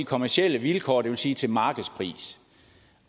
kommercielle vilkår det vil sige til markedspris